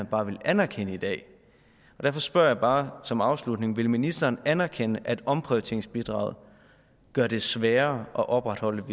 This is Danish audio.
bare ville anerkende det derfor spørger jeg bare som afslutning vil ministeren anerkende at omprioriteringsbidraget gøre det sværere at opretholde